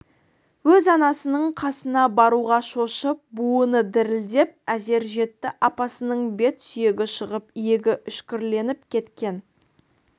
өз анасының қасына баруға шошып буыны дірілдеп әзер жетті апасының бет сүйегі шығып иегі үшкірленіп кеткен